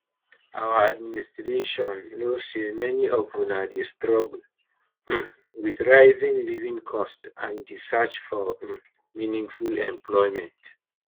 our administration know say many of una dey struggle um with rising living costs and di search for um meaningful employment